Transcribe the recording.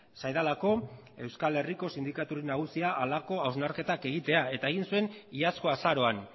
zaidalako euskal herriko sindikaturik nagusiak halako hausnarketak egitea eta egin zuen iazko azaroan